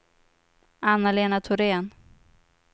Anna-Lena Thorén